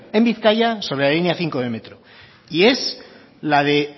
en bizkaia sobre la línea cinco del metro y es la de